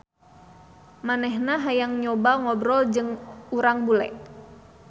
Manehna hayang nyoba ngobrol jeung urang bule.